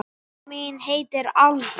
Mamma mín heitir Alda.